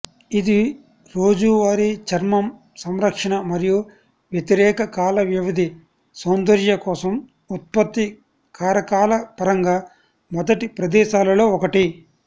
ఇది రోజువారీ చర్మం సంరక్షణ మరియు వ్యతిరేక కాలవ్యవధి సౌందర్య కోసం ఉత్పత్తి కారకాల పరంగా మొదటి ప్రదేశాలలో ఒకటి